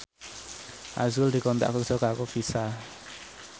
azrul dikontrak kerja karo Visa